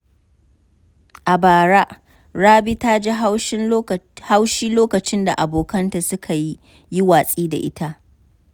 A bara, Rabi ta ji haushi lokacin da abokanta suka yi watsi da ita.